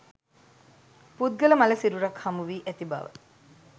පුද්ගල මළ සිරුරක් හමුවී ඇති බව